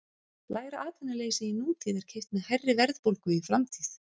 Lægra atvinnuleysi í nútíð er keypt með hærri verðbólgu í framtíð.